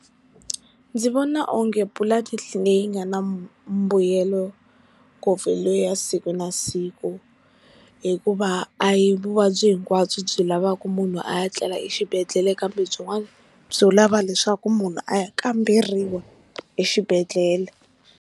Ndzi vona onge pulani leyi nga na mbuyelo ngopfu hi leya siku na siku hikuva a hi vuvabyi hinkwabyo byi lavaka munhu a ya tlela exibedhlele kambe byin'wani byo lava leswaku munhu a ya kamberiwa exibedhlele.